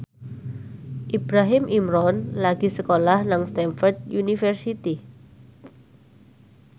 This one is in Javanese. Ibrahim Imran lagi sekolah nang Stamford University